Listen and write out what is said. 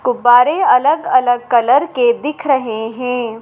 गुब्बारे अलग अलग कलर के दिख रहे हैं।